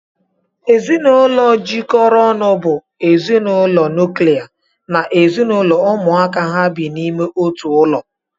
Ezinụlọ jikọrọ ọnụ bụ ezinụlọ nuklia na ezinụlọ ụmụaka ha bi n'ime otu ụlọ